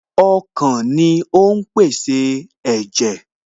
Ọkàn ni ó ń pèsè ẹ̀jẹ̀